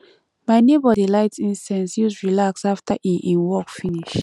my nebor dey light incense use relax after e e work finish